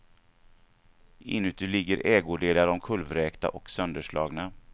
Inuti ligger ägodelar omkullvräkta och sönderslagna.